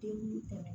Den